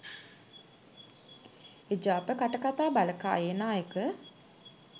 එජාප කටකථා බලකායේ නායක